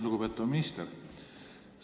Lugupeetav minister!